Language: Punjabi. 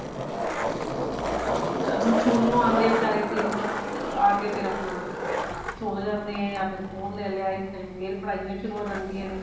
ਹਾਂ ਹੁਣ ਸਕੂਲੋ ਆਂਦੇ ਨੇ ਬਚਾਰੇ ਤਿੰਨ ਆਕੇ ਫੇਰ ਆਪਣਾ ਸੋ ਜਾਂਦੇ ਨੇ ਜਾ ਫੇਰ phone ਲੈ ਲਿਆ ਉਸ time ਫੇਰ ਪੜ੍ਹਾਇਆ ਸ਼ੁਰੂ ਹੋ ਜਾਂਦਿਆ ਨੇ